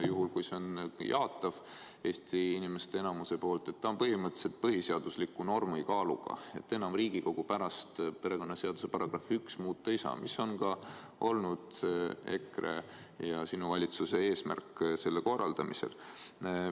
Juhul kui see on jaatav enamiku Eesti inimeste poolt, siis see on põhimõtteliselt põhiseadusliku normi kaaluga ja enam Riigikogu perekonnaseaduse § 1 muuta ei saa, mis on ka olnud EKRE ja sinu valitsuse eesmärk selle korraldamisel.